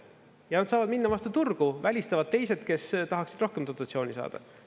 Ja nad saavad minna vastu turgu, välistavad teised, kes tahaksid rohkem dotatsiooni saada.